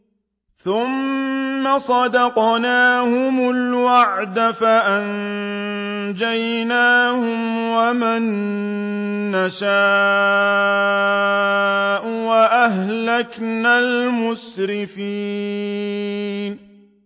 ثُمَّ صَدَقْنَاهُمُ الْوَعْدَ فَأَنجَيْنَاهُمْ وَمَن نَّشَاءُ وَأَهْلَكْنَا الْمُسْرِفِينَ